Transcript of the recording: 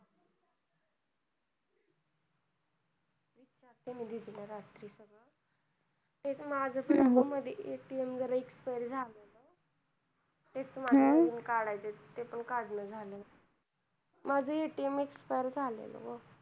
तेच माझं पण अगं मधी ATM जरा expire झालंय. तेच माझं पण ATM काढायचं होत ते पण काढणं झालं नाही. माझं पण ATM expire झालंय नव्ह.